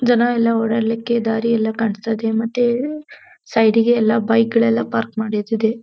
ಜನ ಎಲ್ಲ ಓಡಾಡ್ಲಿಕ್ಕೆ ದಾರಿ ಎಲ್ಲ ಕಾಣ್ಸ್ತ ಇದೆ ಮತ್ತೆ ಸೈಡ್ ಗೆ ಎಲ್ಲ ಬೈಕ್ ಗಳೆಲ್ಲ ಪಾರ್ಕ್ ಮಾಡಿದ್ ಇದೆ.